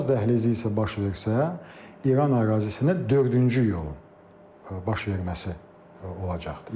Araz dəhlizi isə baş versə, İran ərazisinə dördüncü yolun baş verməsi olacaqdır.